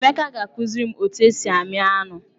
Emeka ga-akụziri m otu esi amị anụ.